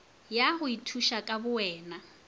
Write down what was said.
ya go ithuša ka bowena